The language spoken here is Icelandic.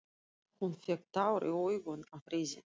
Hún fékk tár í augun af reiði.